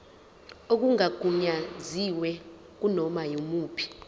okungagunyaziwe kunoma yimuphi